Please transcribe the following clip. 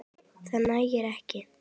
Það nægir ekki.